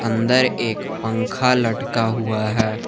अंदर एक पंखा लटका हुआ है।